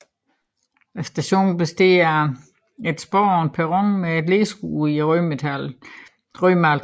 Stationen består af et spor og en perron med et læskur i rødmalet træ